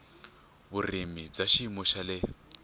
vurimi wa xiyimo xa le